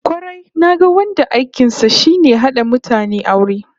Kwarai, naga wanda aikin sa shine hada mutane aure